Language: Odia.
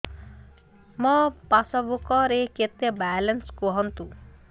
ମୋ ପାସବୁକ୍ ରେ କେତେ ବାଲାନ୍ସ କୁହନ୍ତୁ